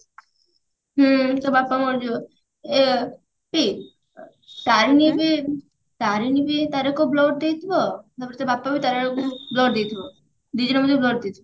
ହୁଁ ତା ବାପା ମରିଯିବ ଏ ପି ତାରେଣୀ ଯଦି ତାରେଣୀ ବି ତାର blood ଦେଇଥିବ ଆଉ ତା ବାପା ବି ତାରେଣୀ କୁ blood ଦେଇଥିବ ଦିଜଣ ଦିଜଣକୁ blood ଦେଇଥିବେ